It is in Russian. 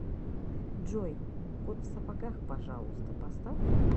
джой кот в сапогах пожалуйста поставь